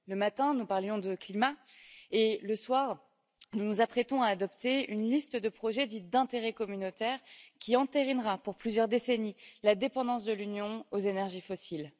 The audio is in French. Le matin, nous parlions de climat et ce soir, nous nous apprêtons à adopter une liste de projets dits d'intérêt communautaire, qui entérinera pour plusieurs décennies la dépendance de l'Union aux énergies fossiles.